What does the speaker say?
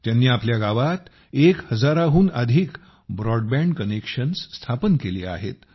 त्यांनी आपल्या गावात एक हजाराहून अधिक ब्रॉडबँड कनेक्शन्स स्थापन केली आहेत